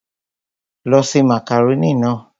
Lọ ṣe màkàrónì náà!